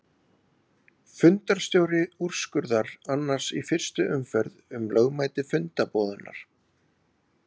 Fundarstjóri úrskurðar annars í fyrstu umferð um lögmæti fundarboðunar.